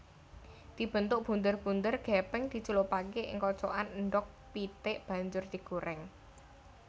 Dibentuk bunder bunder gepeng dicelupake ing kocokan endhog pitik banjur digoreng